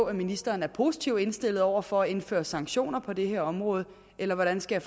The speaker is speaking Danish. at ministeren er positivt indstillet over for at indføre sanktioner på det her område eller hvordan skal